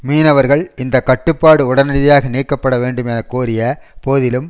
மீனவர்கள் இந்த கட்டுப்பாடு உடனடியாக நீக்கப்பட வேண்டும் என கோரிய போதிலும்